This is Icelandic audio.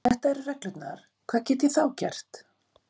En ef þetta eru reglurnar, hvað get ég þá gert?